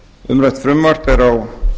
umrætt frumvarp er á